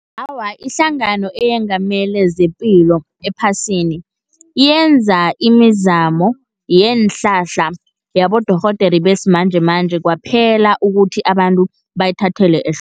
Awa, ihlangano eyengamele zepilo ephasini, yenza imizamo yeenhlahla yabodorhodere besimanjemanje kwaphela, ukuthi abantu bayithathele ehloko.